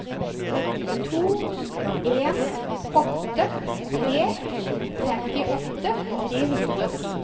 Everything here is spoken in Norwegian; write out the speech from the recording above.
to en åtte tre femtiåtte tre hundre og ti